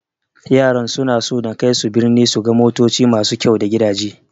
Yaran suna so na kaisu birni su ga motoci masu kyau da gidaje.